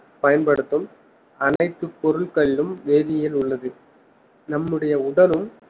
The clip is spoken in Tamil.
பயன்படுத்தும் அனைத்து பொருட்களிலும் வேதியியல் உள்ளது நம்முடைய உடலும்